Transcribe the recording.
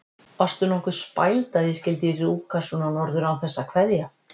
Varstu nokkuð spæld að ég skyldi rjúka svona norður án þess að kveðja?